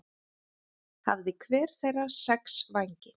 Hafði hver þeirra sex vængi.